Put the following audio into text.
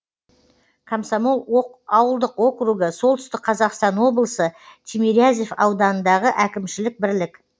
комсомол ауылдық округі солтүстік қазақстан облысы тимирязев ауданындағы әкімшілік бірлік